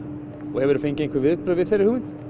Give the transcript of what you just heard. og hefur þú fengið einhver viðbrögð við þeirri hugmynd